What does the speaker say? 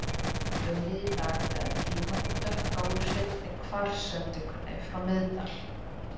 Unnið í dag við að tína það dökka úr seinni kvars-sendingunni frá Miðdal.